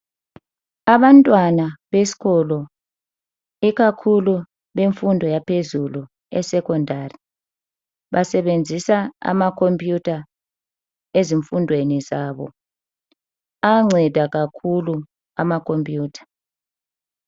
Abantwana besikolo ikakhulu bemfundo yaphezulu eSekhondari basebenzisa amakhompiyutha ezifundweni zabo. Ayanceda kakhulu amakhompiyutha.